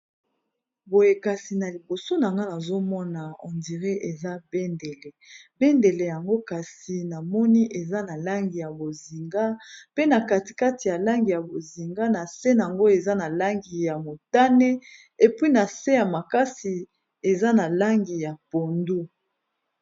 Boye kasi na liboso na nga nazomona ondire eza bendele, bendele yango kasi na moni eza na langi ya bozinga pe na katikati ya langi ya bozinga na se nango eza na langi ya motane epwi na se ya makasi eza na langi ya pondu.